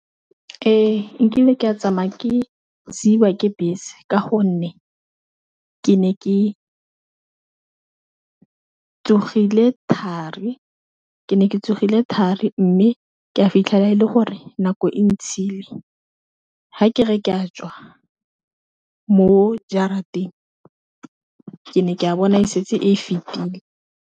Ee nkile ka tsamaya ke siwa ke bese ka gonne ke ne ke tsogile thari mme ke a fitlhela e le gore nako e ntshile ha ke re ke a tswa mo jarateng ke ne ke a bona e setse e fetile.